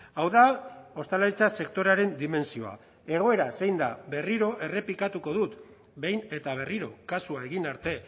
hau da ostalaritza sektorearen dimentsioa egoera zein da berriro errepikatuko dut behin eta berriro kasua egin arte